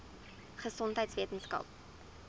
gesondheidweskaap